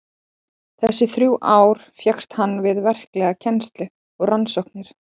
Þessi þrjú ár fékkst hann við verklega kennslu og rannsóknir.